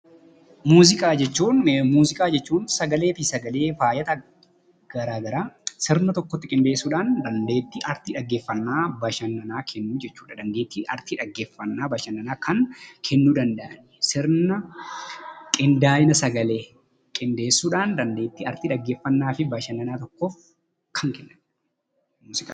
Muuziqaa jechuun sgaleefi saglee fayite gara garaa sirna tokkotti qindesuudhaan dandetti arti bashananaa kennu jechuudha.